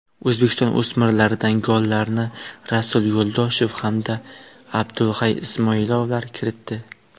O‘zbekiston o‘smirlaridan gollarni Rasul Yo‘ldoshev hamda Abdulhay Ismoilovlar kiritdi.